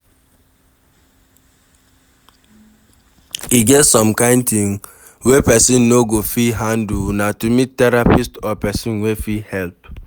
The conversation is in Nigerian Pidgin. E get some kind thing wey person no go fit handle na to meet therapist or person wey fit help